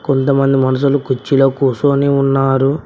కొంతమంది మనుషులు కుర్చీలో కూర్చొని ఉన్నారు.